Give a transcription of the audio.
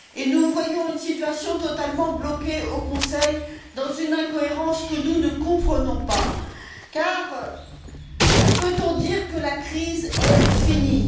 Nous voyons une situation totalement bloquée au Conseil, dans une incohérence que nous ne comprenons pas car peut on dire que la crise est finie?